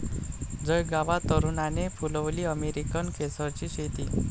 जळगावात तरुणाने फुलवली अमेरिकन केसरची शेती